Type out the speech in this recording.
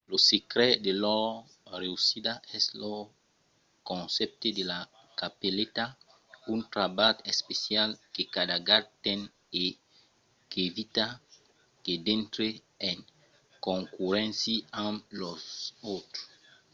lo secret de lor reüssida es lo concèpte de la capeleta un trabalh especial que cada gat ten e qu'evita que dintre en concurréncia amb los autres